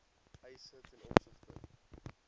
eise ten opsigte